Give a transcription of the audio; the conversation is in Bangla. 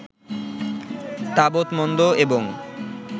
তাবৎ মন্দ এবং